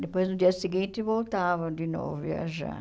Depois, no dia seguinte, voltava de novo viajar.